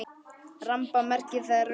Ramba merkir þar rugga.